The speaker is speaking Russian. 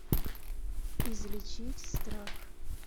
излечить страх